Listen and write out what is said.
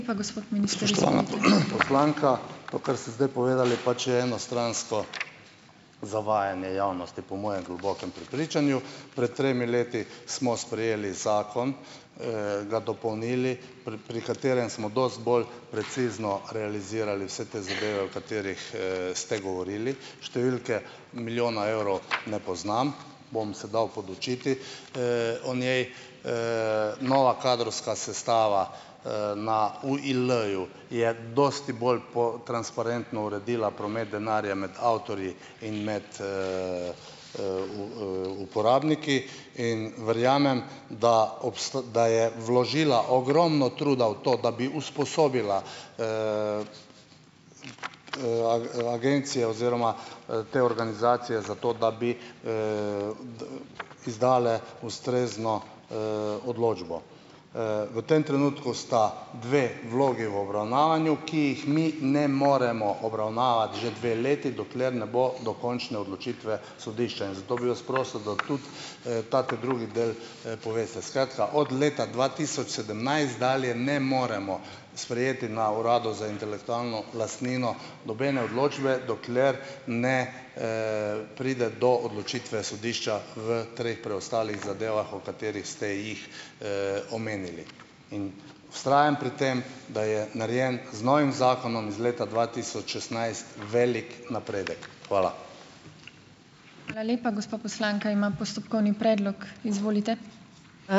Poslanka, to, kar ste zdaj povedali, pač je enostransko zavajanje javnosti, po mojem globokem prepričanju. Pred tremi leti smo sprejeli zakon, ga dopolnili, pri pri katerem smo dosti bolj precizno realizirali vse te zadeve, o katerih, ste govorili. Številke milijona evrov ne poznam, bom se dal podučiti, o njej. Nova kadrovska sestava, na UIL-ju je dosti bolj po transparentno uredila promet denarja med avtorji in med, uporabniki in verjamem, da da je vložila ogromno truda v to, da bi usposobila, agencijo oziroma, te organizacije za to, da bi, izdale ustrezno, odločbo. V tem trenutku sta dve vlogi v obravnavanju, ki jih mi ne moremo obravnavati že dve leti, dokler ne bo dokončne odločitve sodišča, in zato bi vas prosil, da tudi, ta ta drugi del, poveste. Skratka, od leta dva tisoč sedemnajst dalje ne moremo sprejeti na Uradu za intelektualno lastnino nobene odločbe, dokler ne, pride do odločitve sodišča v treh preostalih zadevah, o katerih ste jih, omenili, in vztrajam pri tem, da je narejen z novim zakonom iz leta dva tisoč šestnajst, velik napredek. Hvala.